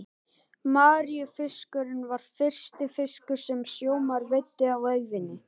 Maríufiskurinn var fyrsti fiskur sem sjómaður veiddi á ævinni.